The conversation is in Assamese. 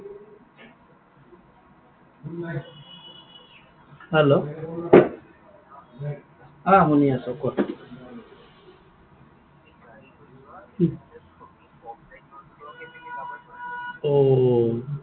hello অ শুনি আছো কোৱা। ঔ।